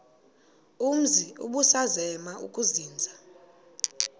umzi ubusazema ukuzinza